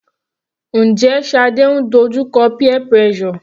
Njẹ́ Shade ń dojú kọ peer pressure?